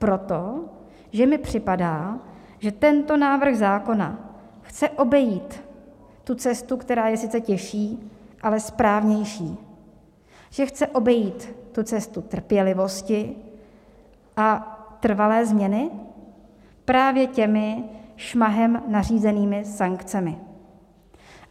Proto, že mi připadá, že tento návrh zákona chce obejít tu cestu, která je sice těžší, ale správnější, že chce obejít tu cestu trpělivosti a trvalé změny právě těmi šmahem nařízenými sankcemi.